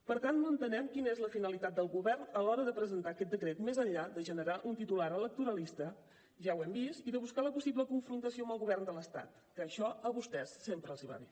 per tant no entenem quina és la finalitat del govern a l’hora de presentar aquest decret més enllà de generar un titular electoralista ja ho hem vist i de buscar la possible confrontació amb el govern de l’estat que això a vostès sempre els va bé